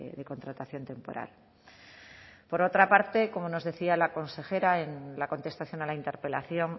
de contratación temporal por otra parte como nos decía la consejera en la contestación a la interpelación